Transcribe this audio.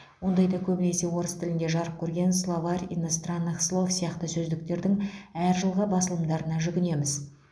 ондайда көбінесе орыс тілінде жарық көрген словарь иностранных слов сияқты сөздіктердің әр жылғы басылымдарына жүгінеміз